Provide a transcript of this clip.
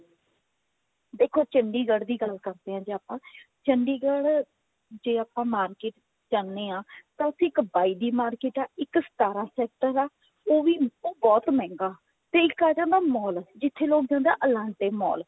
ਦੇਖੋ ਚੰਡੀਗੜ੍ਹ ਦੀ ਗੱਲ ਕਰਦੇ ਹਾਂ ਜੇ ਆਪਾਂ ਚੰਡੀਗੜ੍ਹ ਜੇ ਆਪਾ market ਜਾਂਦੇ ਹਾਂ ਤਾਂ ਉੱਥੇ ਇੱਕ ਬਾਈ ਦੀ market ਹੈ ਇੱਕ ਸਤਾਰਾਂ sector ਹੈ ਉਹ ਵੀ ਉਹ ਬਹੁਤ ਮਹਿੰਗਾ ਤੇ ਇੱਕ ਆ ਜਾਂਦਾ mall ਜਿੱਥੇ ਆ ਜਾਂਦਾ elante mall